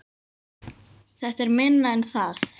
Þetta er minna en það